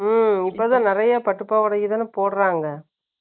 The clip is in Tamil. ம், இப்பதான், நிறைய பட்டுப் பாவாடைக்குதானே போடுறாங்க?